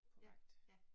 Ja, ja